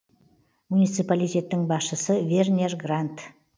муниципалитеттің басшысы вернер грандт